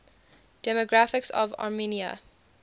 demographics of armenia